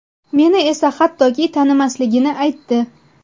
Meni esa hattoki tanimasligini aytdi!